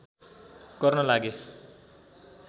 गर्न लागे